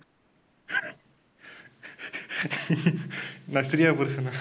நஸ்ரியா புருஷனா?